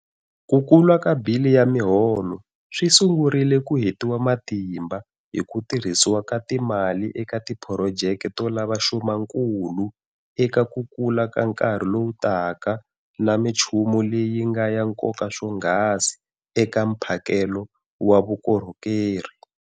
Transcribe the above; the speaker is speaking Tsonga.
Ku kula ka bili ya miholo swi sungurile ku hetiwa matimba hi ku tirhisiwa ka timali eka tiphurojeke to lava xumankulu eka ku kula ka nkarhi lowu taka na michumu leyi yi nga ya nkoka swonghasi eka mphakelo wa vukorhokeri.